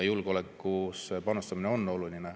Julgeolekusse panustamine on oluline.